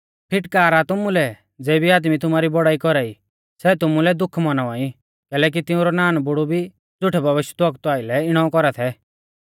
फिटकार आ तुमुलै ज़ेबी आदमी तुमारी बौड़ाई कौरा ई सै तुमुलै दुःख मौनावा ई कैलैकि तिंउरै नानबुढु भी झ़ुठै भविष्यवक्तु आइलै इणौ कौरा थै